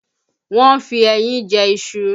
Wọ́n ń fi ẹyin jẹ iṣu